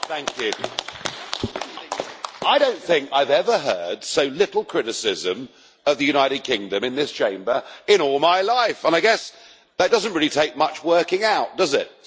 Mr President, I don't think I have ever heard so little criticism of the United Kingdom in this Chamber in all my life, and I guess it doesn't really take much working out why, does it?